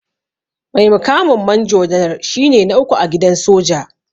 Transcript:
Mai mukamin manjo janar shine na uku a gidan soja.